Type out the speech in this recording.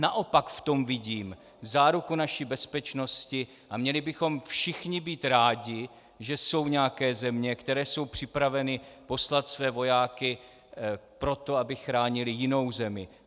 Naopak v tom vidím záruku naší bezpečnosti a měli bychom všichni být rádi, že jsou nějaké země, které jsou připraveny poslat své vojáky proto, aby chránili jinou zemi.